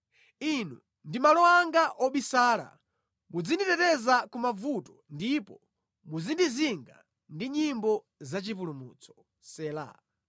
Inu ndi malo anga obisala; muzinditeteza ku mavuto ndipo muzindizinga ndi nyimbo zachipulumutso. Sela